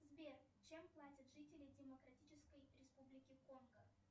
сбер чем платят жители демократической республики конго